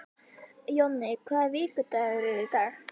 Jonni, hvaða vikudagur er í dag?